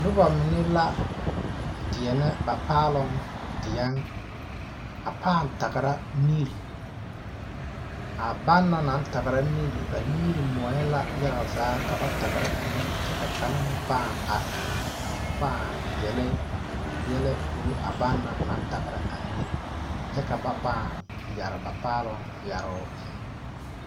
Nobɔ mine la deɛnɛ ba paaloŋ deɛŋ a pãã tagra miri a ban na naŋ tagra miri ba nimire moɔɛ la yaga zaa ka ba tagra a miri kyɛ ka kaŋ meŋ pãã are a pãã yele yɛlɛ korɔ a ban na naŋ tagra a miri kyɛ ka ba pãã yɛre ba paaloŋ yɛroo.